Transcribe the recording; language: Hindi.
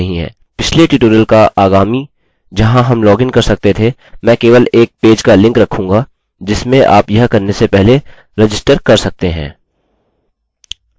पिछले ट्यूटोरियल का आगामी जहाँ हम लॉगिन कर सकते थे मैं केवल एक पेज का लिंक रखूँगा जिसमें आप यह करने से पहले रजिस्टर कर सकते हैं